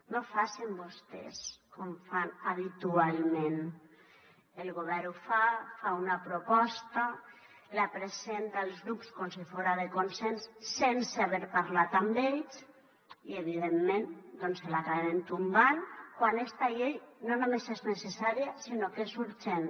no facin vostès com fan habitualment el govern ho fa fa una proposta la presenta als grups com si fora de consens sense haver parlat amb ells i evidentment doncs l’acabem tombant quan esta llei no només és necessària sinó que és urgent